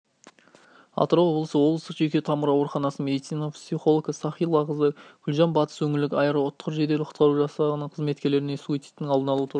атырау облысы облыстық жуйке тамыр ауруханасының медицина психолгі сахилақызы гүлжан батыс өңірлік аэроұтқыр жедел құтқару жасағы қызметкерлеріне суицидтың алдын алу туралы